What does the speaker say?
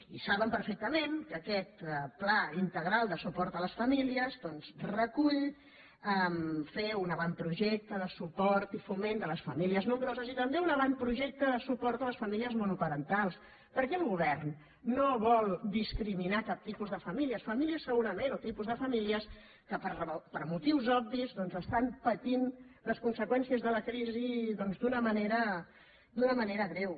i saben perfectament que aquest pla integral de suport a les famílies doncs recull fer un avantprojecte de su·port i foment de les famílies nombroses i també un avantprojecte de suport a les famílies monoparentals perquè el govern no vol discriminar cap tipus de famí·lies famílies segurament o tipus de famílies que per motius obvis estan patint les conseqüències de la crisi d’una manera greu